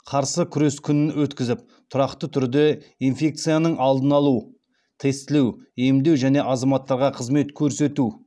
қарсы күрес күнін өткізіп тұрақты түрде инфекцияның алдын алу тестілеу емдеу және азаматтарға қызмет көрсету